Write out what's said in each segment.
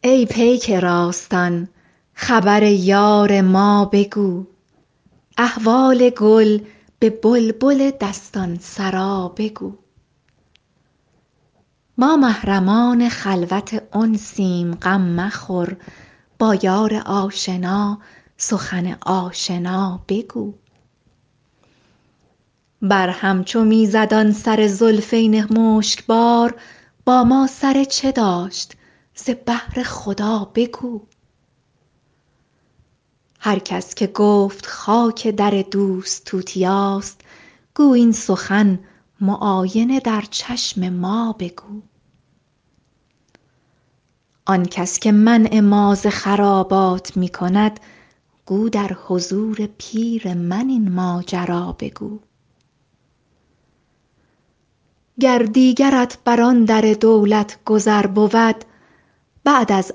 ای پیک راستان خبر یار ما بگو احوال گل به بلبل دستان سرا بگو ما محرمان خلوت انسیم غم مخور با یار آشنا سخن آشنا بگو بر هم چو می زد آن سر زلفین مشک بار با ما سر چه داشت ز بهر خدا بگو هر کس که گفت خاک در دوست توتیاست گو این سخن معاینه در چشم ما بگو آن کس که منع ما ز خرابات می کند گو در حضور پیر من این ماجرا بگو گر دیگرت بر آن در دولت گذر بود بعد از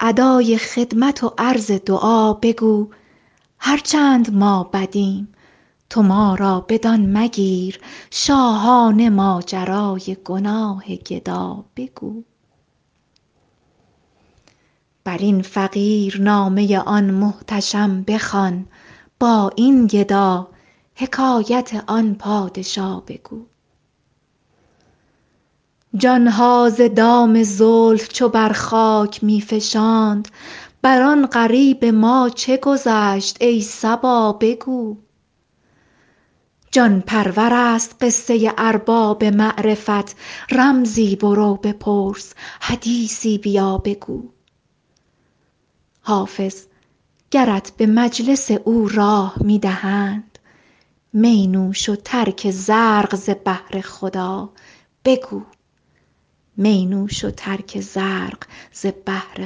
ادای خدمت و عرض دعا بگو هر چند ما بدیم تو ما را بدان مگیر شاهانه ماجرای گناه گدا بگو بر این فقیر نامه آن محتشم بخوان با این گدا حکایت آن پادشا بگو جان ها ز دام زلف چو بر خاک می فشاند بر آن غریب ما چه گذشت ای صبا بگو جان پرور است قصه ارباب معرفت رمزی برو بپرس حدیثی بیا بگو حافظ گرت به مجلس او راه می دهند می نوش و ترک زرق ز بهر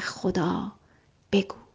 خدا بگو